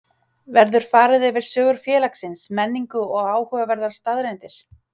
Verður farið yfir sögu félagsins, menningu og áhugaverðar staðreyndir.